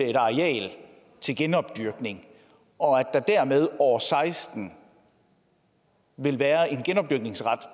et areal til genopdyrkning og at der dermed over seksten vil være en genopdyrkningsret